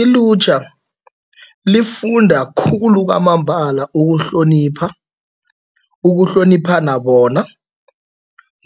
Ilutjha lifunda khulu kwamambala ukuhlonipha, ukuhloniphana bona